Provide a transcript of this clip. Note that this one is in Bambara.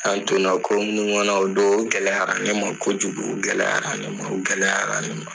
An' donna ko minnu ŋɔnɔ o don, o gɛlɛyara ɲe ma kojugu. O gɛlɛyayara ɲe ma, o gɛlɛyara ne ma.